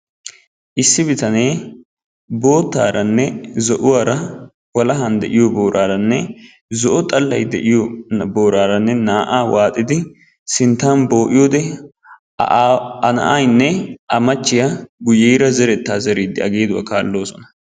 Issi bitanee boottaaranne zo'uwaara walahan de'iyoo booraranne zo'o xallay de'iyo booraaranne naa'aa waaxidi sinttan boo'iyode A na'ayinne A machchiya guuyyeera zeretta zeriiddi A geeduwa kaalloosona.